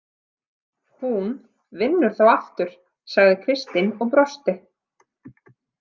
Hún vinnur þá aftur, sagði Kristín og brosti.